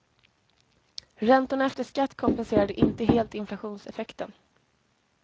Räntorna efter skatt kompenserade inte helt inflationseffekten.